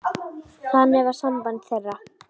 Þannig var samband þeirra.